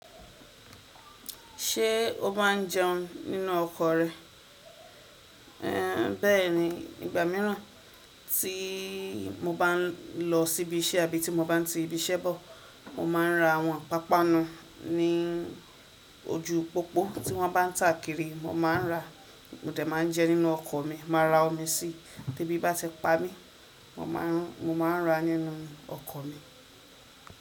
Ṣé o máa ń jẹun nínú ọkọ̀ rẹ? Ée bẹ́ẹ̀ni, ìgbà míràn tí mo bá ń lọ sí ibi iṣẹ́ abí tí mo bá ń ti ibi iṣẹ́ bọ̀, mo máa ń ra àwọn pàpanu ní ojúu pòpo tí wọ́n bá ń tà kiri mo máa ń rà á, mo dẹ̀ máa ń jẹ nínú ọkọ̀ mi, màá ra omi síi tí ebí bá ti pa mí, mo máa ń ra nínú ọkọ̀ mi.